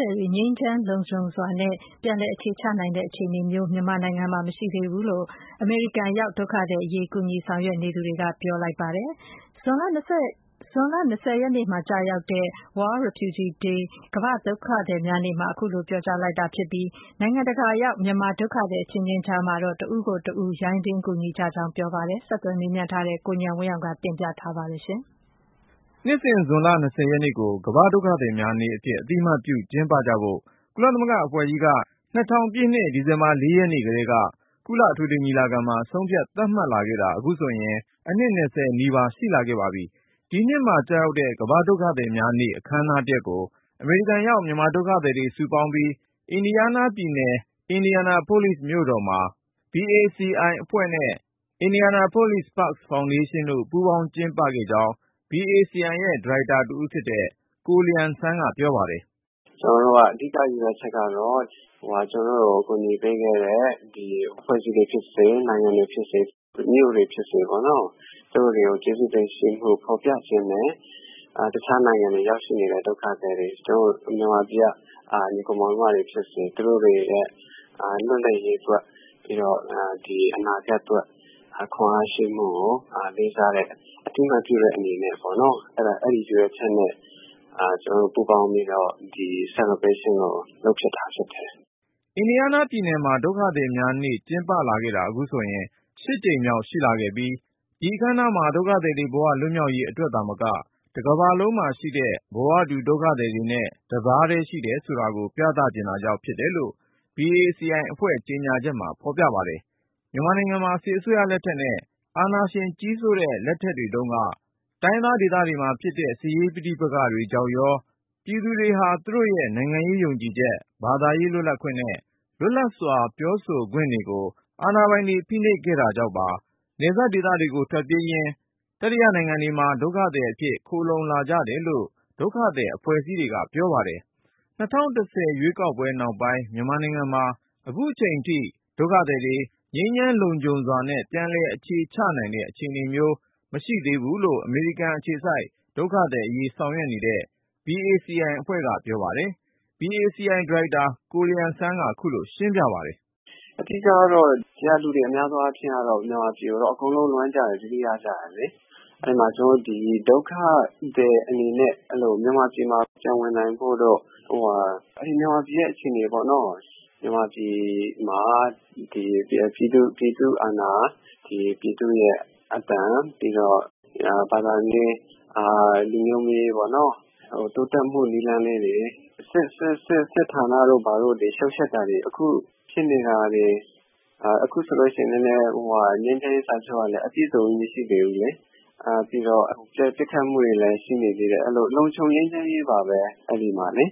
တွေ ငြိမ်းချမ်းလုံခြုံစွာနဲ့ ပြန်လည်အခြေချနိုင်တဲ့ အခြေအနေမျိုး မြန်မာနိုင်ငံမှာ မရှိသေးဘူးလို့ အမေရိကန် ရောက် ဒုက္ခသည်အရေး ကူညီဆောင်ရွက်နေသူတွေက ပြောကြားလိုက်ပါတယ်။ ဇွန်လ ၂၀ ရက်နေ့မှာကျရောက်တဲ့ World Refugee Day ကမ္ဘာ့ဒုက္ခသည်များနေ့မှာ ပြောကြားလိုက်ပြီး၊ နိုင်ငံတကာရောက် မြန်မာဒုက္ခသည်အချင်းချင်း ကြားမှာတော့ တဦးကိုတဦး ကူညီရိုင်းပင်းကြကြောင်း ပြောပါတယ်။ ဆက်သွယ်မေးမြန်းထားတဲ့ ကိုဉာဏ်ဝင်းအောင်က တင်ပြထားပါတယ်။ နှစ်စဉ် ဇွန်လ ၂၀ ရက်နေ့ကို ကမ္ဘာ့ဒုက္ခသည်များနေ့အဖြစ် အသိအမှတ်ပြုကျင်းပကြဖို့ ကုလသမဂ္ဂအဖွဲ့ကြီးက ၂၀၀၀ ပြည့်နှစ် ဒီဇင်ဘာ ၄ ရက်နေ့ကတည်းက ကုလသမဂ္ဂ အထွေထွေညီလာခံမှာ ဆုံးဖြတ် သတ်မှတ်လာခဲ့တာ အခုဆိုရင် အနှစ်၂၀ နီးပါး ရှိလာခဲ့ပါပြီ။ ဒီနှစ်မှာကျရောက်တဲ့ ကမ္ဘာ့ဒုက္ခသည်များနေ့ အခမ်းအနားတရပ်ကို အမေရိကန်ရောက် မြန်မာဒုက္ခသည်တွေ စုပေါင်းပြီး အင်ဒီယားနား ပြည်နယ် Indianapolis မြို့တော်မှာ BACI (Burmese American Community Institute) မြန်မာအမေရိကန် လူမှုအဖွဲ့အစည်းနဲ့ Indianapolis Parks Foundation တို့ ပူးပေါင်းကျင်းပခဲ့ကြောင်း BACI ရဲ့ ဒါရိုက်တာတဦးဖြစ်တဲ့ ကိုလျန်ဆန်း Lian Sang က ပြောပါတယ်။ "ကျနော်တို့က အဓိကရည်ရွယ်ချက်ကတော့ ကျနော်တို့ကို ကူညီပေးခဲ့တဲ့ အဖွဲ့အစည်းတွေဖြစ်စေ၊ နိုင်ငံတွေဖြစ်စေ၊ မြို့တွေဖြစ်စေပေါ့နော်။ သူတို့တွေကို ကျေးဇူးတင်ရှိမှုကို ဖော်ပြချင်တယ်။ တခြားနိုင်ငံတွေ ရောက်ရှိနေတဲ့ ဒုက္ခသည်တွေ မြန်မာပြည်က ညီအကိုမောင်နှမတွေဖြစ်စေ သူတို့တွေရဲ့ လွတ်လပ်ရေးအတွက်၊ ပြီးတော့ ဒီအနာဂတ်အတွက် ခွန်အားရှိမှုကို လေးစားတဲ့၊ အသိအမှတ်ပြုတဲ့အနေနဲ့ပေါ့နော်... အဲ့ဒီရည်ရွယ်ချက်နဲ့ ကျနော်တို့ ပူးပေါင်းပြီးတော့ ဒီ celebration ကို လုပ်ဖြစ်တာ ဖြစ်တယ်။" အင်ဒီယားနားပြည်နယ်မှာ ဒုက္ခသည်များနေ့ ကျင်းပလာတာ အခုဆို ရှစ်ကြိမ်မြောက် ရှိလာခဲ့ပြီး ဒီအခမ်းအနားဟာ ဒုက္ခသည်တွေ ဘဝ လွတ်မြောက်ရေး အတွက်သာမက တကမ္ဘာလုံးမှာရှိတဲ့ ဘဝတူ ဒုက္ခသည်တွေနဲ့ တသားထဲ ရှိတယ်ဆိုတာကို ပြသချင်တာကြောင့် ဖြစ်တယ်လို့ BACI အဖွဲ့ကြေညာချက်မှာ ဖေါ်ပြပါတယ်။ မြန်မာနိုင်ငံမှာ စစ်အစိုးရလက်ထက်နဲ့ အာဏာရှင်ကြီးစိုးတဲ့ လက်ထက်တုန်းက တိုင်းရင်းသား ဒေသတွေမှာဖြစ်တဲ့ စစ်ရေးပဋိပက္ခတွေကြောင့်ရော၊ ပြည်သူတွေဟာ သူတို့ရဲ့ နိုင်ငံရေးယုံကြည်ချက်၊ ဘာသာရေး လွတ်လပ်ခွင့်နဲ့ လွတ်လပ်စွာ ပြောဆိုခွင့်တွေကို အာဏာပိုင်တွေ ဖိနှိပ်ခဲ့တာကြောင့်ပါ နယ်စပ်ဒေသကို ထွက်ပြေးရင်း တတိယနိုင်ငံတွေမှာ ဒုက္ခသည်တွေအဖြစ် ခိုလှုံလာကြတယ်လို့ ဒုက္ခသည်အဖွဲ့အစည်းတွေက ပြောပါတယ်။ ၂၀၁၀ ရွေးကောက်ပွဲနောက်ပိုင်း မြန်မာနိုင်ငံမှာ အခုချိန်ထိ ဒုက္ခသည်တွေ ငြိမ်းချမ်းလုံခြုံစွာနဲ့ ပြန်လည်အခြေချနိုင်တဲ့ အခြေအနေမျိုး မရှိသေးဘူးလို့ အမေရိကန်အခြေစိုက် ဒုက္ခသည်အရေး ကူညီဆောင်ရွက်နေတဲ့ BACI အဖွဲ့ကပြောပါတယ်။ BACI ဒါရိုက်တာ ကိုလျန်ဆန်းက ခုလိုရှင်းပြပါတယ်။ "အဓိကကတော့ ဒီကလူတွေများသောအားဖြင့်ကတော့ မြန်မာနိုင်ငံကို အကုန်လုံးလွမ်းကြတယ်၊ သတိရကြတယ်လေ။ အဲ့ဒီမှာ ကျနော်တို့ ဒုက္ခသည်အနေနဲ့ အဲ့လို မြန်မာမှာ ပြန်ဝင်နိုင်ဖို့တော့ အဲဒီမြန်မာပြည်ရဲ့ အခြေအနေပေါ့နော်.... မြန်မာပြည်မှာ ဒီပြည်သူ့အာဏာ၊ ဒီပြည်သူ့ရဲ့အသံ ပြီးတော့ ဘာသာမရွေး၊ လူမျိုးမရွေးပေါ့နော်... တိုးတက်မှု နည်းလမ်းလေးတွေ စစ်ဌာနတို့ဘာတို့တွေ ရှုပ်ရှက်တာတွေ ခုဖြစ်နေတာတွေ။ အခုဆိုလို့ရှိရင် ငြိမ်းချမ်းရေးစာချုပ်ကလည်း အပြည့်အစုံကြီး မရှိသေးဘူးလေ။ ပြီးတော့ ပစ်ခတ်မှုတွေလည်း ရှိနေသေးတယ် လုံခြုံရေးပါပဲ အဲ့ဒီမှာလေ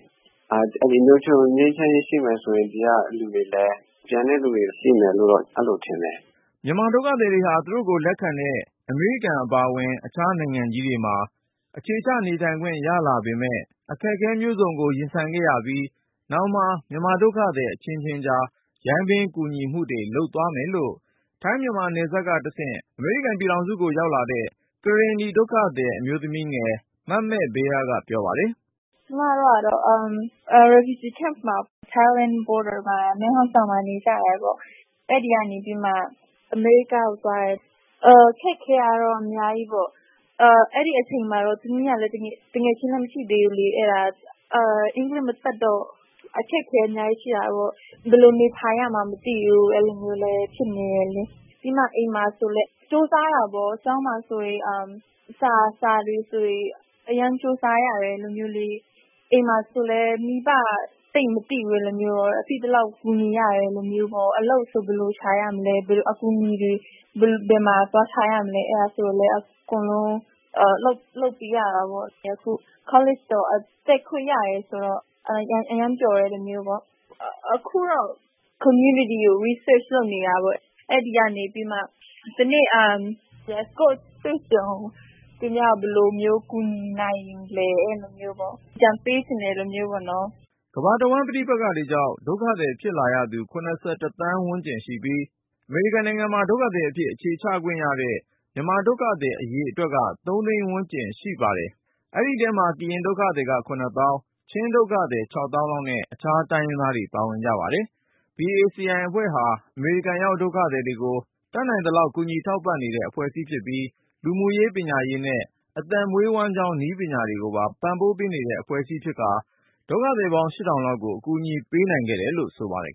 ။ လုံခြုံငြိမ်းချမ်းရှိမယ်ဆိုရင် ဒီကလူတွေလည်း ပြန်မယ့်လူတွေ ရှိမယ်လို့ အဲလို့ထင်တယ်။" မြန်မာဒုက္ခသည်တွေဟာ သူတို့ကိုလက်ခံတဲ့ အမေရိကန်အပါအဝင် အခြားနိုင်ငံကြီးတွေမှာ အခြေချနေထိုင်ခွင့် ရလာပေမယ့် အခက်အခဲ မျိုးစုံကို ရင်ဆိုင်ခဲ့ရပြီး နောင်မှာ မြန်မာဒုက္ခသည်အချင်းချင်းကြား ရိုင်းပင်းကူညီမှုတွေ လုပ်သွားမယ်လို့ ထိုင်းမြန်မာနယ်စပ်ကတဆင့် အမေရိကန်ကို ရောက်လာတဲ့ ကရင်နီဒုက္ခသည် အမျိုးသမီးငယ် မမဲ့ဘဲယား Meber ကပြောပါတယ်။ "ကျမတို့ကတော့ refugee camp မှာ Thailand Border မှာ နေကြတယ်ပေါ့။ အဲ့ဒီကနေပြီးတော့မှ အမေရိကားကိုသွားတယ်။ အခက်အခဲကတော့ အများကြီးပေါ့။ အဲ့ဒီအချိန်မှာတော့ သမီးကလည်း သူငယ်ချင်းလည်း မရှိသေးဘူးလေ။ English မတတ်တော့ အခက်အခဲ အများကြီးရှိတာပေါ့။ ဘယ်လိုနေထိုင်ရမှာ မသိဘူး။ အဲ့လိုမျိုးလည်း ဖြစ်နေတယ်လေ။ ပြီးတော့ အိမ်မှာဆိုလည်း ကြိုးစားတာပေါ့။ ကျောင်းမှာဆိုရင် စာတွေဆိုရင် အရမ်းကြိုးစားရတယ်။ ဒီလိုမျိုးလေ အိမ်မှာဆိုလည်း မိဘက သိပ်မသိဘူး အဲ့လိုမျိုး။ အလုပ်ဆိုဘယ်လိုရှာရမလဲ၊ အကူအညီတွေ ဘယ်မှာသွားရှာရမလဲ။ အကုန်လုံးလုပ်ပေးရတာပေါ့။ အခု College တော့ တက်ခွင့်ရတယ်ဆိုတော့ အရမ်းပျော်တယ်ပေါ့။ အခုတော့ Community ကို Research လုပ်နေတာပေါ့။ အဲ့ဒီကနေပြီးမှ တနေ့ ကိုယ့်အတွေ့အကြုံကို သူများဘယ်လို ကူညီနိုင်မလဲပေါ့။ ပြန်ပေးချင်တယ် အဲ့လိုမျိုးပေါ့နော်။" ကမ္ဘာတဝှမ်း ပဋိပက္ခတွေကြောင့် ဒုက္ခသည်ဖြစ်လာရသူ ၇၁ သန်းဝန်းကျင်ရှိပြီး အမေရိကန်နိုင်ငံမှာ ဒုက္ခသည်အဖြစ် အခြေချခွင့်ရတဲ့ မြန်မာဒုက္ခသည်အရေအတွက်က ၃၀၀,၀၀၀ ဝန်းကျင်ရှိပါတယ်။ အဲဒီအထဲမှာ ကရင်ဒုက္ခသည်က ၇၀,၀၀၀ ချင်းဒုက္ခသည် ၆၀,၀၀၀ လောက်နဲ့ အခြား တိုင်းရင်းသားတွေ ပါဝင်တာပါ။ BACI အဖွဲ့ဟာ အမေရိကန်ရောက် ဒုက္ခသည်တွေကို တတ်နိုင်သလောက် ကူညီထောက်ပံ့ပေးနေတဲ့ အဖွဲ့အစည်းဖြစ်ပြီး လူမှုရေး၊ ပညာရေးနဲ့ အသက်မွေးဝမ်းကျောင်း နည်းပညာတွေကိုပါ ပံ့ပိုးပေးနေတဲ့ အဖွဲ့အစည်းဖြစ်ကာ ဒုက္ခသည်ပေါင်း ၈,၀၀၀ လောက်ကို အကူအညီပေးနိုင်ခဲ့တယ်လို့ ဆိုပါတယ်